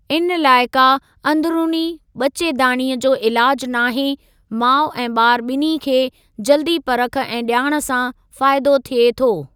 इन लाइ का अंदिरुनी ॿचेदाणीअ जो इलाजु नाहे, माउ ऐं ॿार ॿिन्हीं खे जल्दी परख ऐं ॼाण सां फ़ाइदो थिए थो।